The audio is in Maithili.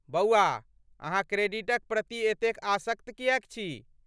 बौआ, अहाँ क्रेडिटक प्रति एते आसक्त किएक छी?